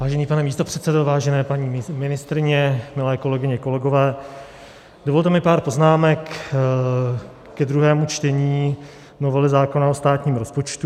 Vážený pane místopředsedo, vážené paní ministryně, milé kolegyně, kolegové, dovolte mi pár poznámek ke druhému čtení novely zákona o státním rozpočtu.